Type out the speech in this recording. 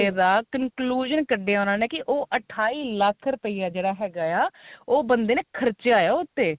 ਬੰਦੇ ਦਾ conclusion ਕੱਢਿਆ ਉਨ੍ਹਾਂ ਨੇ ਕੀ ਉਹ ਅਠਾਈ lakh ਰੁਪਇਆ ਜਿਹੜਾ ਹੈਗਾ ਆ ਉਹ ਬੰਦੇ ਨੇ ਖਰਚਿਆ ਹੋਇਆ ਉਸਤੇ